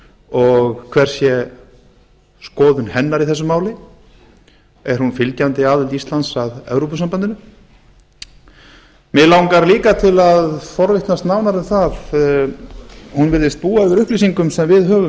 og hver sé skoðun hennar í þessu máli er hún fylgjandi aðild íslands að evrópusambandinu mig langar líka til að forvitnast nánar um að hún virðist búa yfir upplýsingum sem við höfum